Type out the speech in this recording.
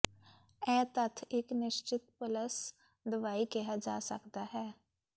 ਇਹ ਤੱਥ ਇੱਕ ਨਿਸ਼ਚਿਤ ਪਲੱਸ ਦਵਾਈ ਕਿਹਾ ਜਾ ਸਕਦਾ ਹੈ